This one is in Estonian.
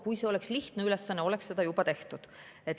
Kui see oleks lihtne ülesanne, oleks seda juba tehtud.